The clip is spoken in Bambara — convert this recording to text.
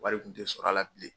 Wari kun tɛ sɔrɔ a la bilen.